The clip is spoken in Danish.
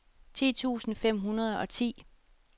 ti tusind fem hundrede og ti